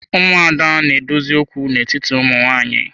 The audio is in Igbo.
Ụmụada na-edozi okwu n'etiti ụmụ nwanyị.